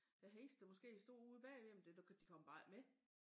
Æ hest der måske stod ude bagved jamen det du kan de kommer bare ik med